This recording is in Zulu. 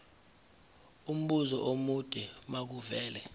umbuzo omude makuvele